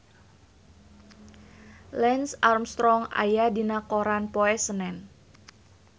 Lance Armstrong aya dina koran poe Senen